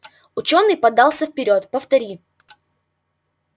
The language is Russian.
учёный подался вперёд повтори